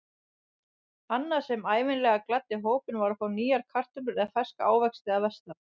Annað sem ævinlega gladdi hópinn var að fá nýjar kartöflur eða ferska ávexti að vestan.